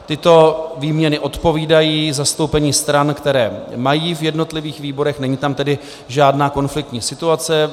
Tyto výměny odpovídají zastoupení stran, které mají v jednotlivých výborech, není tam tedy žádná konfliktní situace.